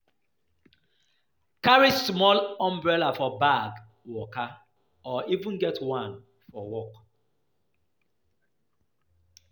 Carry small umbrella for bag waka or even get one for work